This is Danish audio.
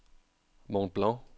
Mont Blanc